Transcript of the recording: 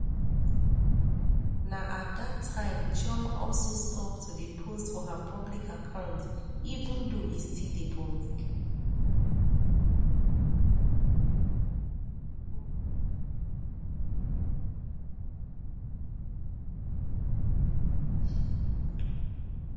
na at dat time chioma also stop to dey post for her public account even though e still dey public